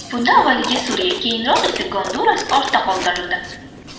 Bunda avvaliga Suriya, keyinroq esa Gonduras ortda qoldirildi.